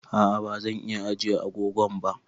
A'a bazan iya ajiye agogon ka ba